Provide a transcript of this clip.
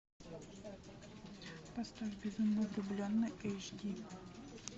поставь безумно влюбленный эйч ди